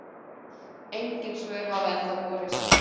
Engin svör hafa ennþá borist.